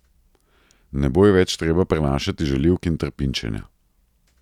Ne bo ji več treba prenašati žaljivk in trpinčenja.